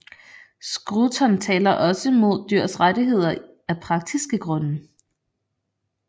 Scruton taler også mod dyrs rettigheder af praktiske grunde